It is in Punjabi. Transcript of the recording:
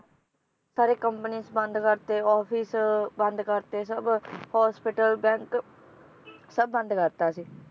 ਸਾਰੇ companies ਬੰਦ ਕਰਤੇ, office ਬੰਦ ਕਰਤੇ, ਸਬ hospital bank ਸਬ ਬੰਦ ਕਰਤਾ ਸੀ